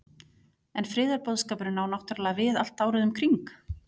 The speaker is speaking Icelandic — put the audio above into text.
En friðarboðskapurinn á náttúrulega við allt árið um kring?